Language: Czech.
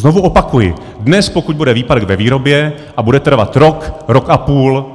Znovu opakuji, dnes, pokud bude výpadek ve výrobě a bude trvat rok, rok a půl,